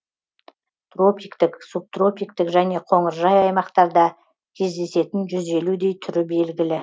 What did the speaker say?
тропиктік субтропиктік және қоңыржай аймақтарда кездесетін жүз елудей түрі белгілі